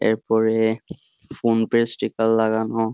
এরপরে PhonePe sticker লাগানো।